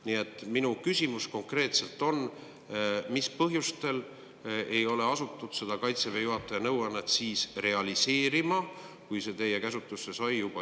Nii et minu küsimus konkreetselt on, mis põhjustel ei asutud seda Kaitseväe juhataja nõuannet realiseerima juba eelmisel sügisel, kui see teie käsutusse sai.